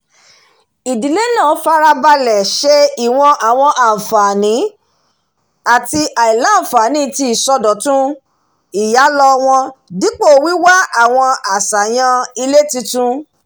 ìdílé náà farabalẹ̀ ṣe ìwọ̀n àwọn àǹfààní àti àìlàǹfààní tí ìsọ̀dótún ìyàlọ́ wọn dípò wíwá àwọn aṣàyàn ilé tuntun